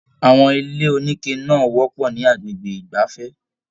Àwọn ilé onike náà wọpọ ni agbègbè igbafẹ̀.